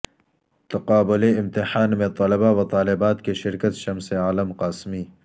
تقابلی امتحان میں طلباءو طالبات کی شرکت شمس عالم قاسمی